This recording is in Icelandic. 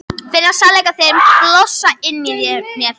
Finna sannleika þinn blossa inni í mér.